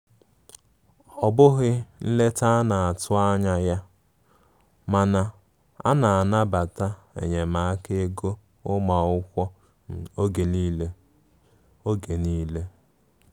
Ọbughi nleta ana atu anya ya, mana a na anabata enyemaka ego ụmụakwụkwọ oge nile. oge nile.